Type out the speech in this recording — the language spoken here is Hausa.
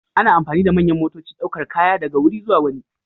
Ana amfani da manyan motocin daukar kaya daga wuri zuwa wani.